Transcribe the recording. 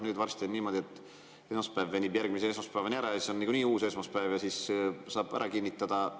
Nüüd on varsti niimoodi, et esmaspäev venib järgmise esmaspäevani ära ja siis on nagunii uus esmaspäev ja siis saab ära kinnitada.